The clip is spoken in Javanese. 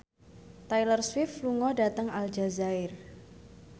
Taylor Swift lunga dhateng Aljazair